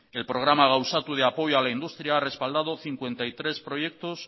el programa gauzatu de apoyo a la industria ha respaldado cincuenta y tres proyectos